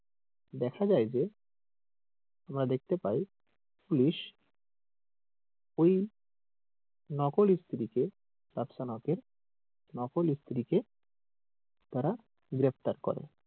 কিন্তু দেখা যাই যে আমরা দেখতে পাই পুলিশ ওই নকল স্ত্রীকে রাফসান হকের নকল স্ত্রীকে তারা গ্রেফতার করে।